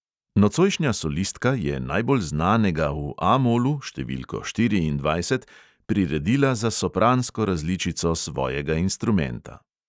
Nocojšnja solistka je najbolj znanega v A molu, številko štiriindvajset, priredila za sopransko različico svojega instrumenta.